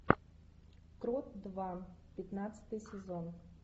крот два пятнадцатый сезон